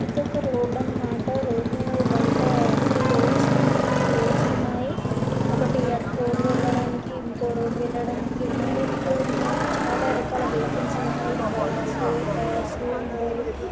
ఇదొక రోడ్డు అనమాట రోడ్డులో బయట త్రి రోడ్స్ ఊ టూ రోడ్స్ ఉన్నాయి. ఒకటి అటు రోడ్డు వెళ్ళడానికి ఇంకొ రోడ్డు వెళ్ళడానికి ఉన్నాయి .ఇటు చాలా రకాల వెహికల్స్ ఉన్నాయి బైక్స్ కార్స్ ఉన్నాయి .